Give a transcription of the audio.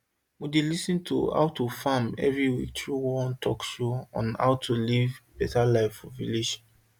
we dey lis ten to how to farm every week through one talkshow on how to live better live for village